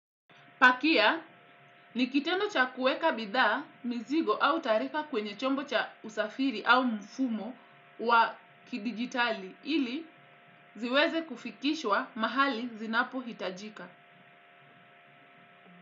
Pakia, nikitendo cha kuweka bidhaa, mizigo au taarifa kwenye chombo cha usafiri au mfumo wa kidigitali ili ziweze kufikishwa mahali zinapo hitajika.